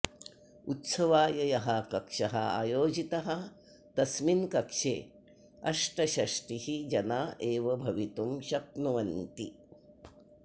उत्सवाय यः कक्षः आयोजितः तस्मिन् कक्षे अष्टषष्टिः जना एव भवितुं शक्नुवन्ति